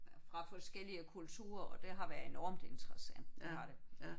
Fra forskellige kulturer og det har været enormt interessant det har det